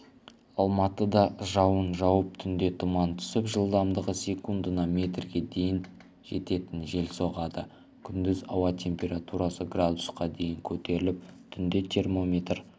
алматыда жауын жауып түнде тұман түсіп жылдамдығы секундына метрге дейін жететін жел соғады күндіз ауа температурасы градусқа дейін көтеріліп түнде термометр